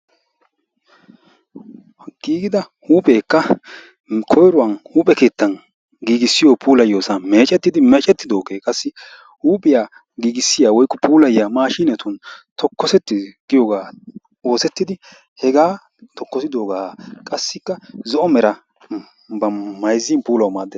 Giigida huuphekka koyruwan huuphe keettan giigissiyo puulayiyoosan meccettidi , qassikka hega tokkisidooga qassikk zo'o meraa mayssin puulaw maaddees.